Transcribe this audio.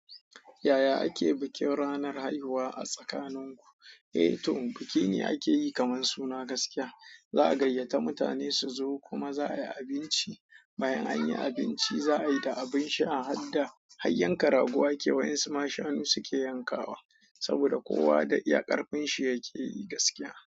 Yaya ake bikin ranar haihuwa a tsakaninku? Eh to, biki ne ake yi kamar suna gaskiya. Za'a gayyata mutane su zo kuma za'a yi abinci. Bayan an yi abinci, za'a yi da abin sha a hadda hayyen ka rago a ke wa 'yan su ma shanu suke yankawa. Saboda kowa da iyakarfin shi yake yi gaskiya.